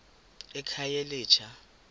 ekhayelitsha